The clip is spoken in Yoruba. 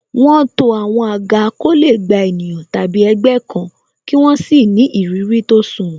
Wọn to àwọn àga ko le gba ènìyàn tàbí ẹgbẹ́ kan, kí wọ́n sì ni ìrírí tó sunwòn.